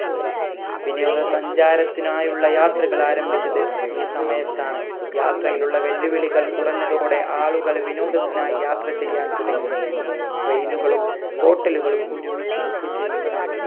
വിനോദ സഞ്ചാരത്തിനായുള്ള യാത്രകൾ ആരംഭിച്ചത് ഈ സമയത്താണ് യാത്രയിലുള്ള വെല്ലുവിളികൾ കുറഞ്ഞതോടെ ആളുകൾ വിനോദത്തിനായി യാത്ര ചെയ്യാൻ തുടങ്ങി train കളും hotel കളും ഒരുമിച്ച് book ചെയ്യുന്ന